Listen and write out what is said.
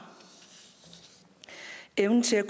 evnen til at